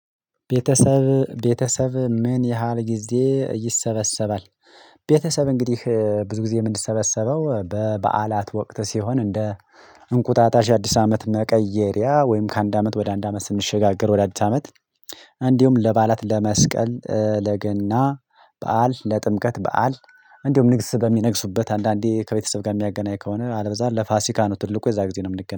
ቤተሰብ ቤተሰብህ ምን ያህል ጊዜ ይሰበሰባል? ቤተሰብ እንግዲህ ብዙ ጊዜ የምንሰበሰበው በበዓላት ወቅት ሲሆን እንደ እንቁጣጣሽ አዲስ አመት መቀየሪያ ወይም ከአንድ አመት ወደ አንድ አመት ስንሸጋገር ወደ አዲስ አመት እንዲሁም ለበዓላት ለመስቀል፣ ለገና በዓል፣ ለጥምቀት በዓል እንዲሁም ንግስ በሚነግሱበት አንዳንዴ ከቤተሰብ ጋር የሚያገናኝ ከሆነ፤ አለበለዚያ ለፋሲካ ነው ትልቁ የዛ ጊዜ ነው የምንገናኘው።